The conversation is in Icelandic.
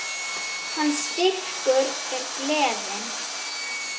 Hans styrkur er gleðin.